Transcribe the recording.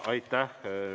Aitäh!